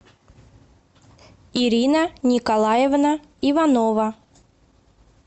ирина николаевна иванова